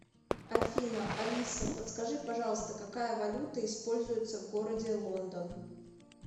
афина алиса подскажи пожалуйста какая валюта используется в городе лондон